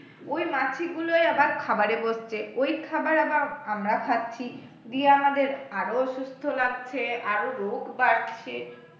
ওই মাছিগুলোই আবার খাবারে বসছে ওই খাবার আবার আমরা খাচ্ছি দিয়ে আমাদের আরও অসুখ ছড়াচ্ছে আরও রোগ বাড়ছে